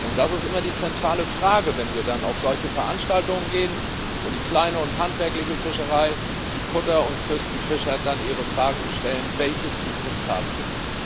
Das ist immer die zentrale Frage, wenn wir auf solche Veranstaltungen gehen, wo die kleine und handwerkliche Fischerei, die Kutter und Küstenfischer dann ihre Fragen stellen Welche Zukunft haben wir?